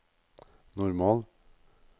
normal